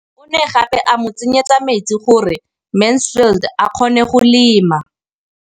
O ne gape a mo tsenyetsa metsi gore Mansfield a kgone go lema.